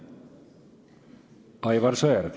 Aivar Sõerd.